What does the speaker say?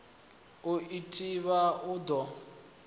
u i thivha u ḓo